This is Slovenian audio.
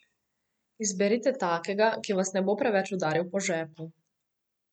Izberite takega, ki vas ne bo preveč udaril po žepu.